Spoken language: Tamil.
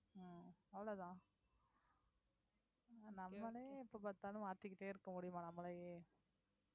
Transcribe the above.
உம் அவ்வளவுதான் நம்மளே எப்ப பார்த்தாலும் மாத்திக்கிட்டே இருக்க முடியுமா நம்மளயே